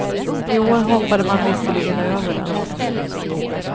I år hoppade man visserligen över den.